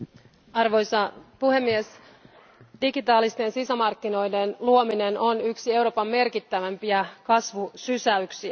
Arvoisa puhemies, digitaalisten sisämarkkinoiden luominen on yksi Euroopan merkittävämpiä kasvusysäyksiä.